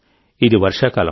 ఇది వర్షాకాలం